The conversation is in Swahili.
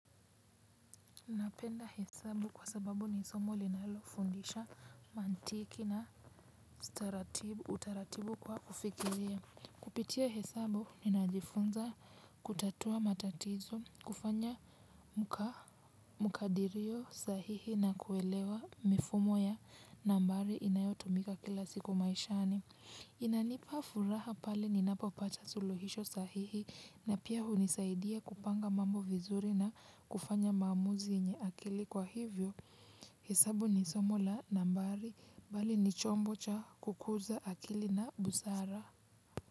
Napenda hesabu kwa sababu nisomo linalofundisha mantiki na utaratibu kwa kufikiria. Kupitia hesabu ni najifunza kutatua matatizo, kufanya mukadirio sahihi na kuelewa mifumo ya nambari inayotumika kila siku maishani. Kwa hivyo, hesabu ni somo la nambari, bali ni chombo cha kukuza akili na busara.